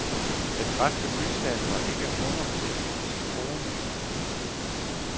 Den græske bystat var ikke monoteistisk troende.